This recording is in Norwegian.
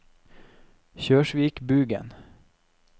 Kjørsvikbugen